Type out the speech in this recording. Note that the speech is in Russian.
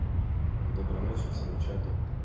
доброй ночи всему чату